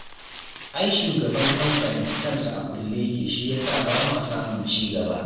Ai shugaban kamfanin kansa a kulle yake shi ya sa ba ma samun ci gaba